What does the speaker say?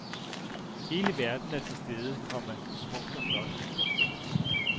Hele verden er til stede, komma smukt og flot. punktum